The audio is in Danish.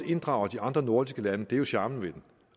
inddrager de andre nordiske lande det er jo charmen ved den